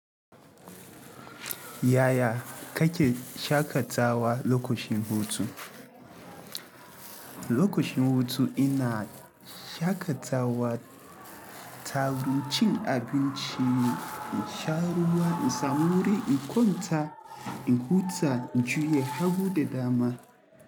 Yaya kake shakatawa lokacin hutu? Lokacin hutu ina shakatawa ta wurin cin abinci, in sha ruwa, in samu wuri in kwanta, in huta, in juya hagu da dama.